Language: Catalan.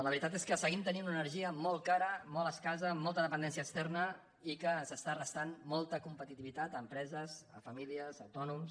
la veritat és que seguim tenint una energia molt ca·ra molt escassa amb molta dependència externa i que ens està restant molta competitivitat a empreses a fa·mílies a autònoms